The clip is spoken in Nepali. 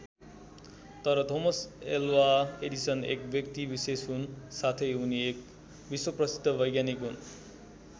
तर थोमस एल्वा एडिसन एक व्यक्ति विशेष हुन् साथै उनी एक विश्व प्रसिद्ध वैज्ञानिक हुन्।